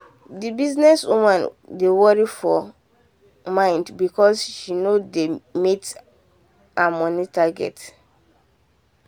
the business woman dey worry for for mind because she no dey meet her money target.